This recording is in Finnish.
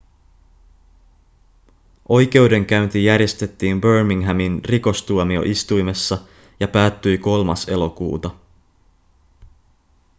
oikeudenkäynti järjestettiin birminghamin rikostuomioistuimessa ja päättyi 3 elokuuta